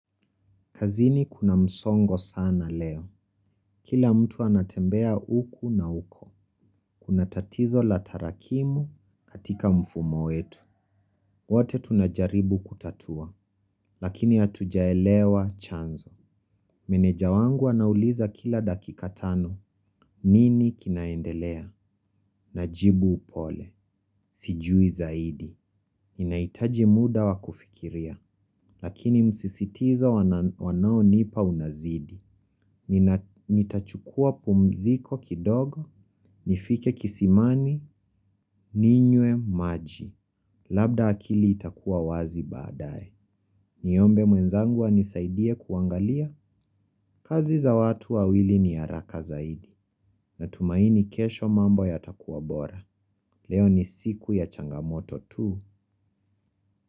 Kazini kuna msongo sana leo. Kila mtu anatembea huku na huko. Kuna tatizo la tarakimu katika mfumo wetu. Wote tunajaribu kutatua, lakini hatujaelewa chanzo. Meneja wangu anauliza kila dakika tano. Nini kinaendelea? Najibu upole. Sijui zaidi. Ninahitaji muda wakufikiria, lakini msisitizo wanaonipa unazidi. Nitachukua pumziko kidogo, nifike kisimani, ninywe maji. Labda akili itakuwa wazi baada ye. Niombe mwenzangua anisaidie kuangalia. Kazi za watu wawili ni haraka zaidi. Natumaini kesho mambo ya takuwa bora. Leo ni siku ya changamoto tu.